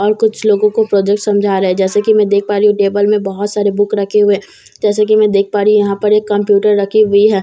और कुछ लोगों को प्रोजेक्ट समझा रहे हैं जैसे की देख पा रही हूं टेबल में बहुत सारे बुक रखे हुए हैं जैसे कि मैं देख पा रही हूं कि यहां पर एक कंप्यूटर रखे हुए है जैसे की --